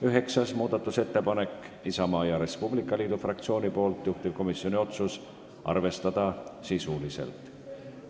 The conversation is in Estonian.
Üheksas muudatusettepanek on Isamaa ja Res Publica Liidu fraktsioonilt, juhtivkomisjoni otsus on arvestada sisuliselt.